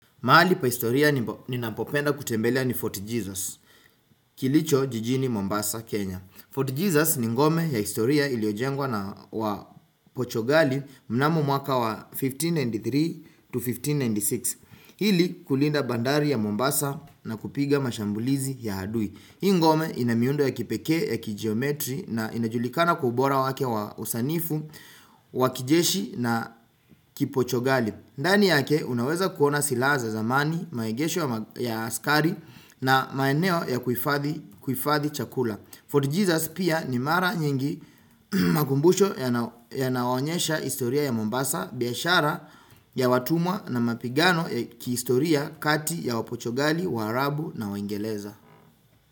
Mahali pa historia ninapopenda kutembelea ni Fort Jesus, kilicho jijini Mombasa, Kenya. Fort Jesus ni ngome ya historia iliyojengwa na wa pochogali mnamo mwaka wa 1593 to 1596. Ili kulinda bandari ya Mombasa na kupiga mashambulizi ya adui. Hii ngome ina miundo ya kipekee ya kigeometri na inajulikana kwa bora wake wa usanifu, wa kijeshi na kipochogali. Ndani yake unaweza kuona silaha za zamani, maegesho ya askari na maeneo ya kuifadhi kuhifadhi chakula. Fort Jesus pia ni mara nyingi makumbusho yana yanayoonyesha historia ya Mombasa, biashara ya watumwa na mapigano ya kihistoria kati ya wapochogali, waarabu na waingeleza.